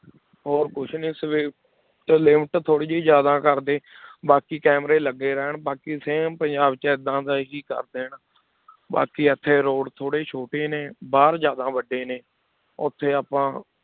ਹੋਰ ਕੁਛ ਨੀ speed limit ਥੋੜ੍ਹੀ ਜਿਹੀ ਜ਼ਿਆਦਾ ਕਰਦੇ ਬਾਕੀ ਕੈਮਰੇ ਲੱਗੇ ਰਹਿਣ ਬਾਕੀ same ਪੰਜਾਬ 'ਚ ਏਦਾਂ ਦਾ ਹੀ ਕਰ ਦੇਣ, ਬਾਕੀ ਇੱਥੇ road ਥੋੜ੍ਹੇ ਛੋਟੇ ਨੇ, ਬਾਹਰ ਜ਼ਿਆਦਾ ਵੱਡੇ ਨੇ ਉੱਥੇ ਆਪਾਂ